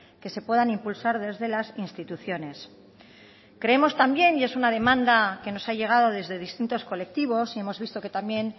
que se puedan impulsar desde las instituciones creemos también y es una demanda que nos ha llegado desde distintos colectivos y hemos visto que también